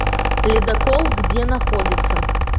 ледокол где находится